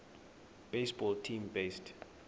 baseball team based